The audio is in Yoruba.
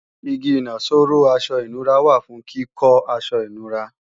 Igi ìnaṣọró aṣọ ìnura wà fún kíkọ́ aṣọ ìnura